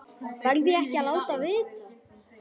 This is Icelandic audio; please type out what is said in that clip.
Verð ég ekki að láta vita?